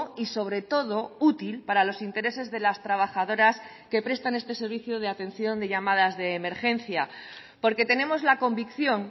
y sobre todo útil para los intereses de las trabajadoras que prestan este servicio de atención de llamadas de emergencia porque tenemos la convicción